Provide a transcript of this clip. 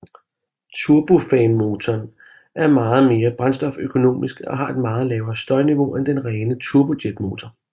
Turbofanmotoren er meget mere brændstoføkonomisk og har et meget lavere støjniveau end den rene turbojetmotor